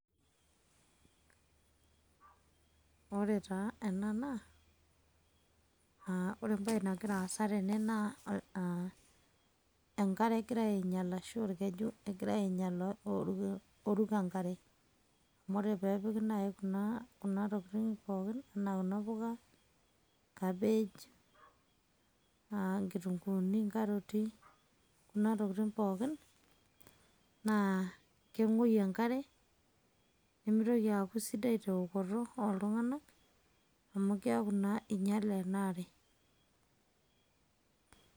Ore taa ena naa ore embae nagira aasa tene naa enkare egirai aainyel aashu orkeju egirai aainyel [stammer] oruko enkare. Amu ore pee epiki naai tokitin pooki enaa kuna puka, kabej enaa inkitunkuuni, inkaroti, kuna tokitin pooki, naa keng'uoyu enkare, nemitoki aaku sidai teokoto ooltung'anak, amu keaku naa inyale ena are